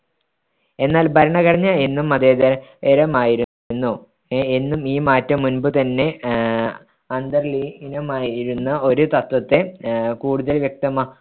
എന്നാൽ ഭരണഘടന എന്നും മതേതരമായിരുന്നു എന്നും ഈ മാറ്റം മുൻപു തന്നെ ആഹ് അന്തർലീനമായിരുന്ന ഒരു തത്ത്വത്തെ അഹ് കൂടുതൽ വ്യക്തമാ